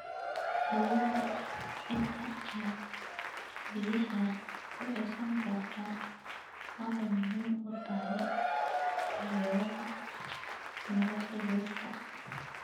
Awoodda ciidda ay biyaha ku ceshan karto waxay muhiim u tahay taageerada nolosha dhirta.